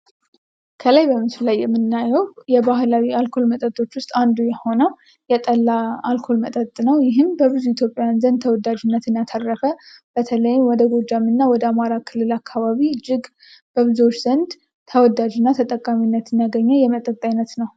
ከላይ በምስሉ ላይ የምናየው ከባህላዊ አልኮል መጠጦች ውስጥ አንዱ የሆነው የጠላ አልኮል መጠጥ ነው ይህም በብዙ ኢትዮጵያዊያን ዘንድ ተወዳጅነትን ያተረፈ በተለይ ወደ ጎጃም እና ወደ አማራ ክልል አካባቢ እጅግ በብዙዎች ዘንድ ተወዳጅ እና ተጠቃሚነትን ያገኘ የመጠጥ አይነት ነው።